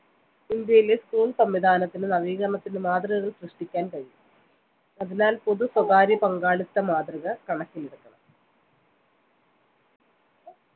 ഇന്ത്യയിലെ school സംവിധാനത്തിന് നവീകരണത്തിന് മാതൃകകൾ സൃഷ്ടിക്കാൻ കഴിയും അതിനാൽ പൊതുസ്വകാര്യ പങ്കാളിത്ത മാതൃക കണക്കിലെടുക്കണം